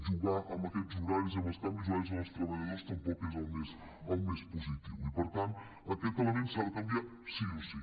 jugar amb aquests horaris i amb els canvis horaris amb els treballadors tampoc és el més posi·tiu i per tant aquest element s’ha de canviar sí o sí